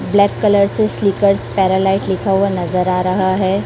Black colour से slippers पैरालाइट लिखा हुआ नजर आ रहा है।